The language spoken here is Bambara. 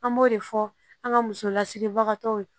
An b'o de fɔ an ka musolasigibagatɔw ye